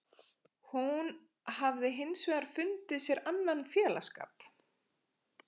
Hún hafði hins vegar fundið sér annan félagsskap.